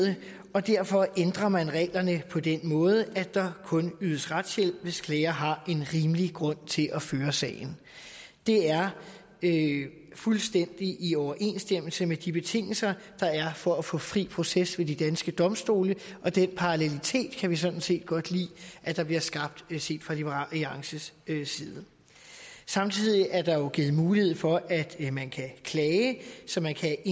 og derfor ændrer man reglerne på den måde at der kun ydes retshjælp hvis klager har en rimelig grund til at føre sagen det er fuldstændig i overensstemmelse med de betingelser der er for at få fri proces ved de danske domstole og den parallelitet kan vi sådan set godt lide at der bliver skabt set fra liberal alliances side samtidig er der jo givet mulighed for at man kan klage så man kan